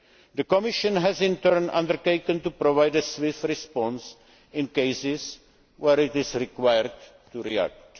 The Commission has, in turn, undertaken to provide a swift response in cases where it is required to react.